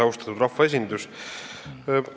Austatud rahvaesindus!